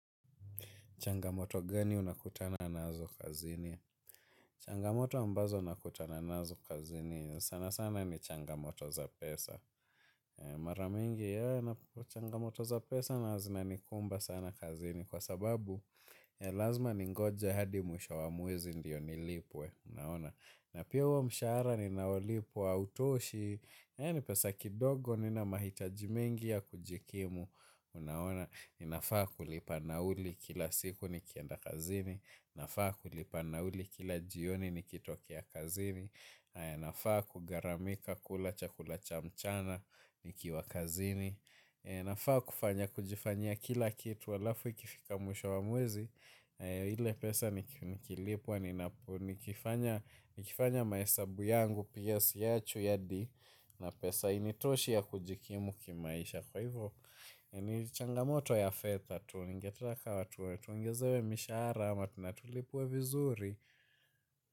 Changamoto gani unakutana nazo kazini? Changamoto ambazo nakutana nazo kazini sana sana ni changamoto za pesa. Mara mingi unakuta changamoto za pesa nayo zinanikumba sana kazini kwa sababu lazima ningoje hadi mwisho wa mwezi ndiyo nilipwe unaona. Na pia huo mshahara ninao lipwa hautoshi ni pesa kidogo nina mahitaji mingi ya kujikimu unaona. Ninafaa kulipa nauli kila siku nikienda kazini nafaa kulipa nauli kila jioni nikitokea kazini. Inafaa kugharamika kula chakula cha mchana nikiwa kazini. Inafaa kufanya kujifanyia kila kitu alafu ikifika mwisho wa mwezi. Ile pesa nikilipwa nikifanya mahesabu yangu pia siachwi hadi ina pesa hainitoshi ya kujikimu kimaisha. Kwa hivyo, nichangamoto ya fedha, tu ningependa tuwe, tuongezewe mishahara ama tuna tulipwe vizuri.